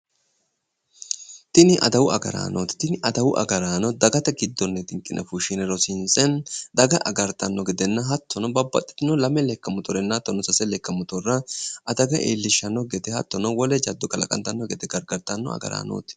Tini adawu agaraanooti. Tini adawu agaraano dagate giddonni xinqine fushshine daga agartanno gedenna hattono lame lekka moyorenna sase lekka motore jaddo iillishshannokki gede agartanno agaraanooti.